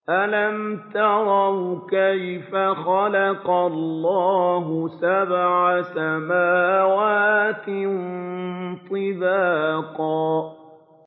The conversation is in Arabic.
أَلَمْ تَرَوْا كَيْفَ خَلَقَ اللَّهُ سَبْعَ سَمَاوَاتٍ طِبَاقًا